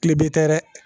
Kilebe tɛ dɛ